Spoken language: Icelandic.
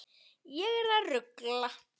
Ég er að rugla.